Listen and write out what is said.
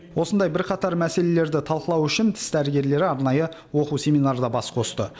осындай бірқатар мәселелерді талқылау үшін тіс дәрігерлері арнайы оқу семинарда бас қосты